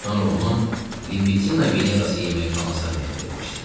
Sonra onu Libitina Venerası yeməkxanasına dəvət eləmişdi.